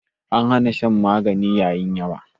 An hana shan magani yayi yawa